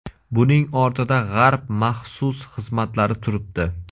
Buning ortida G‘arb maxsus xizmatlari turibdi.